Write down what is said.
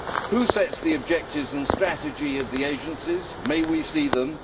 Who sets the objectives and strategy of the agencies? May we see them?